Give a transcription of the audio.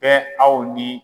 Bɛ aw ni.